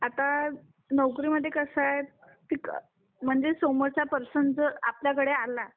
आता नोकरीमध्ये कसा आहे म्हणजे समोरचा पर्सन जर आपल्याकडे आला